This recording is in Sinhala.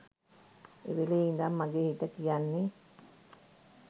එවෙල් ඉඳන් මගේ හිත කියන්නෙ